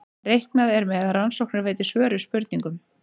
Reiknað er með að rannsóknir veiti svör við spurningum.